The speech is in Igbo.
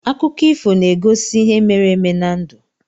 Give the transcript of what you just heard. Akụkọ ifo na-egosi ihe mere eme na ndụ.